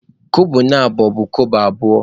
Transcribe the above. Kobo na abọ bụ Kobo abụọ